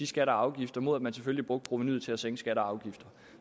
skatter og afgifter mod at man selvfølgelig brugte provenuet til at sænke og afgifter